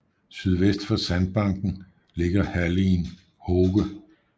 Sydvest for sandbanken ligger halligen Hoge